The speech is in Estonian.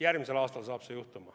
Järgmisel aastal see juhtub.